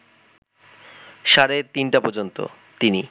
সাড়ে ৩টা পর্যন্ত তিনি